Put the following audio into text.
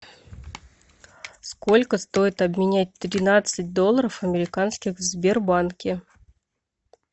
сколько стоит обменять тринадцать долларов американских в сбербанке